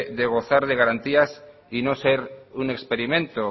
de gozar de garantías y no ser un experimento